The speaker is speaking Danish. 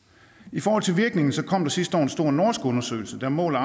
i forhold til virkningen kom der sidste år en stor norsk undersøgelse der måler